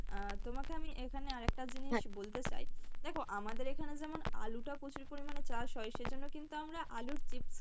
আহ তোমাকে আমি এইখানে আরেকটা জিনিস বলতে চাই, দেখো আমাদের এখানে যেমন আলু টা প্রচুর পরিমাণে চাষ হয় সেইজন্য কিন্তু আমরা আলুর chips